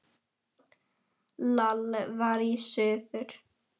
Lall var í suður.